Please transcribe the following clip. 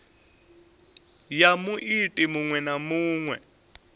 ya muiti muṅwe na muṅwe